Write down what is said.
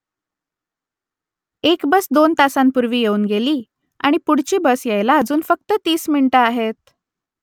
एक बस दोन मिनिटांपूर्वी येऊन गेली आणि पुढची बस यायला अजून फक्त तीस मिनिटं आहेत